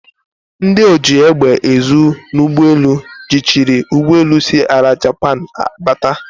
Ndi oji egbe ezu n'ugbi elu jichiri ugboelu si ala Japan bata.